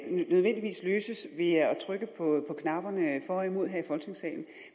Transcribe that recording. trykke på knapperne for og imod her i folketingssalen